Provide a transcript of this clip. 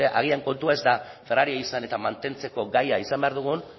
agian kontua ez da ferraria izan eta mantentzeko gai izan behar dugun